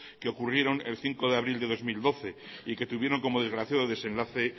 que ocurrieron el cinco de abril de dos mil doce y que tuvieron como desgraciado desenlace